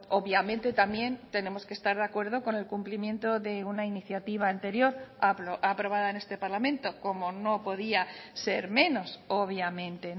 obviamente también tenemos que estar de acuerdo con el cumplimiento de una iniciativa anterior aprobada en este parlamento como no podía ser menos obviamente